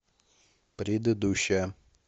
предыдущая